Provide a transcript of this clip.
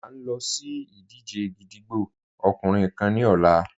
À n lọ sí ìdíjẹ̀ gídígbò ọkùnrin kán ni ọ̀là.